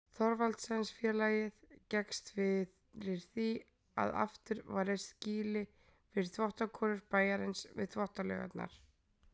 Thorvaldsensfélagið gekkst fyrir því að aftur var reist skýli fyrir þvottakonur bæjarins við Þvottalaugarnar.